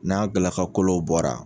N'a galakakolow bɔra